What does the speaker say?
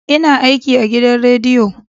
ina aiki agidan rediyo